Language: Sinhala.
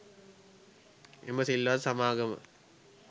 එම සිල්වත් සමාගම